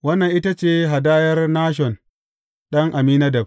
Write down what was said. Wannan ita ce hadayar Nashon ɗan Amminadab.